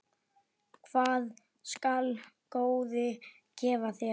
Hvað skal góði gefa þér?